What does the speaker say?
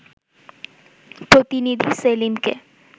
প্রতিনিধি সেলিমকে